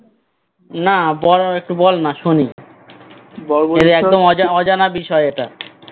না বল একটু বল না শুনি বর্বরিক একদম অজানা বিষয় এটা